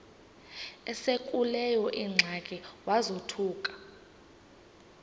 esekuleyo ingxaki wazothuka